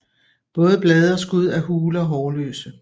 Både blade og skud er hule og hårløse